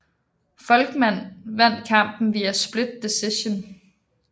Volkmann vandt kampen via split decision